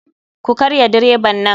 Ku karya direban nan.